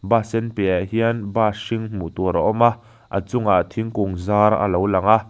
bus sen piahah hian bus hring hmuh tur a awm a a chungah thingkung zar a lo lang a.